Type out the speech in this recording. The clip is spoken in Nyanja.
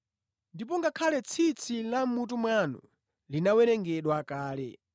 Ndipo ngakhale tsitsi la mʼmutu mwanu linawerengedwa kale.